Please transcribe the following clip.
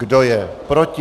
Kdo je proti?